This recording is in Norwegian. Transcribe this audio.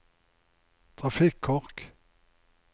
trafikkork